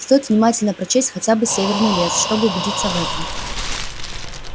стоит внимательно прочесть хотя бы северный лес чтобы убедиться в этом